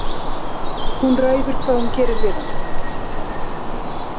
Hún ræður hvað hún gerir við hana.